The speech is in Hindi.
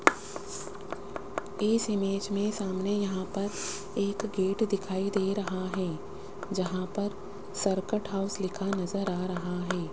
इस इमेज में सामने यहां पर एक गेट दिखाई दे रहा हैं जहां पर सरकट हाउस लिखा नजर आ रहा है।